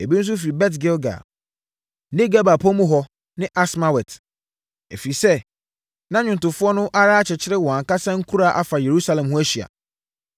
Ebi nso firi Bet-Gilgal ne Geba pɔ mu hɔ ne Asmawet, ɛfiri sɛ, na nnwomtofoɔ no ara akyekyere wɔn ankasa nkuraa afa Yerusalem ho ahyia.